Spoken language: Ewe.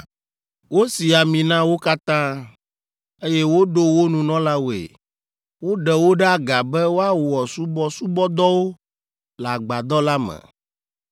Wosi ami na wo katã, eye woɖo wo nunɔlawoe. Woɖe wo ɖe aga be woawɔ subɔsubɔdɔwo le Agbadɔ la me.